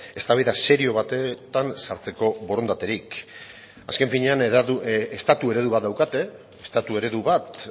eztabaida serio batetan sartzeko borondaterik azken finean estatu eredu bat daukate estatu eredu bat